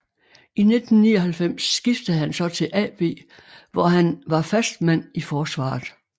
I 1999 skiftede han så til AB hvor han var fast mand i forsvaret